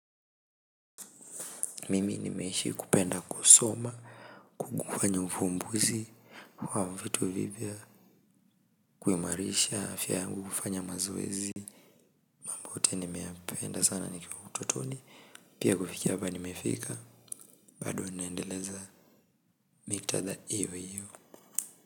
Mimi nimeishi kupenda kusoma, kukufanya ufumbuzi wa vitu vipya, kuimarisha afya mimi hufanya mazoezi, pia kufikia mahali nimefika, bado naendeleza nitaenda hivo hivo.